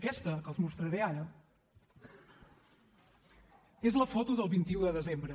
aquesta que els mostraré ara és la foto del vint un de desembre